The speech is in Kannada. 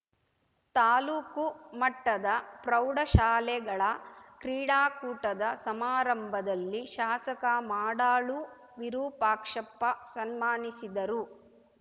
ತಾಲೂಕು ಮಟ್ಟದ ಪ್ರೌಢಶಾಲೆಗಳ ಕ್ರೀಡಾಕೂಟದ ಸಮಾರಂಭದಲ್ಲಿ ಶಾಸಕ ಮಾಡಾಳು ವಿರೂಪಾಕ್ಷಪ್ಪ ಸನ್ಮಾನಿಸಿದರು